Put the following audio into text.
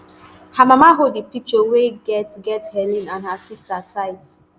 her mama hold di picture wey get get helen and her sister tight